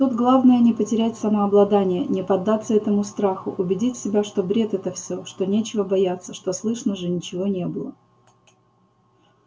тут главное не потерять самообладания не поддаться этому страху убедить себя что бред это всё что нечего бояться что слышно же ничего не было